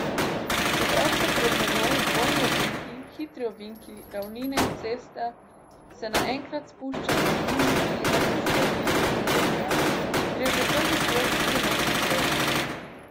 Čeprav so pred menoj dvojni ovinki, hitri ovinki, ravnine, cesta se enkrat spušča v ovinek in nato spet dviga v drugo stran, gre že prvi krog zelo hitro.